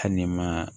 Hali ni ma